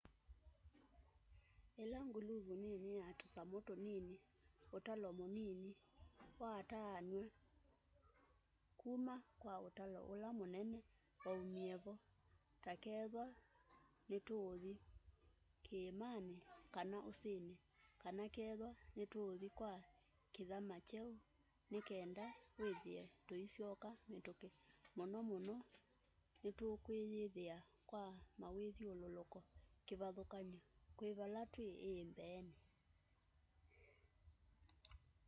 ila nguluvu nini ya tusamu tunini utalo munini wataananw'a kuma kwa utalo ula munene maumie vo ta kethwa nituuthi kiimani kana usini kana kethwa nituuthi kwa kithama kyeu nikenda withie tuisyoka mituki muno muno nitukwiyithia kwa mawithyululuko kivathukany'o kwi vala twi ii mbeeni